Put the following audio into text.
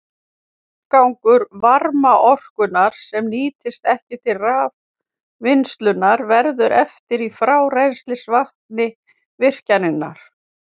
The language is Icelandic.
Afgangur varmaorkunnar, sem nýtist ekki til raforkuvinnslu, verður eftir í frárennslisvatni virkjunarinnar.